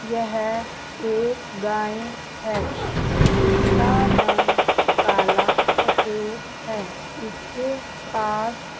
यह एक गाय है इसका रंग काला सफेद है इसके पास ----